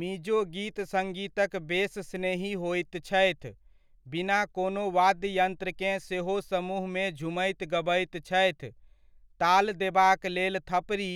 मिजो गीत सड़्गीतक बेस स्नेही होइत छथि, बिना कोनो वाद्ययन्त्रकेँ सेहो समूहमे झूमैत गबैत छथि, ताल देबाक लेल थपरी